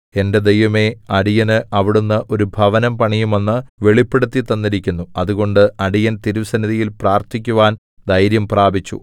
എന്റെ ദൈവമേ അടിയന് അവിടുന്ന് ഒരു ഭവനം പണിയുമെന്നു വെളിപ്പെടുത്തിത്തന്നിരിക്കുന്നു അതുകൊണ്ട് അടിയൻ തിരുസന്നിധിയിൽ പ്രാർത്ഥിക്കുവാൻ ധൈര്യംപ്രാപിച്ചു